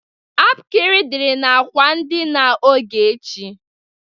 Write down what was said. Apkịrị dịri n'akwa ndịna Ogechi.